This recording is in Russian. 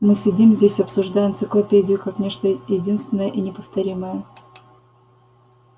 мы сидим здесь обсуждая энциклопедию как нечто единственное и неповторимое